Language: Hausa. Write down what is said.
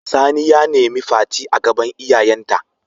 Sani ya nemi Fati a gaban iyayen ta.